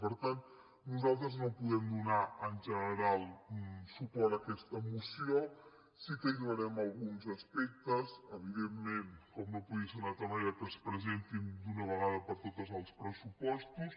per tant nosaltres no podem donar en general suport a aquesta moció sí que hi donarem a alguns aspectes evidentment com no podia ser d’una altra manera que es presentin d’una vegada per totes els pressupostos